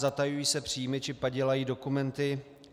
Zatajují se příjmy či padělají dokumenty.